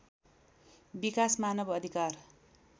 विकास मानव अधिकार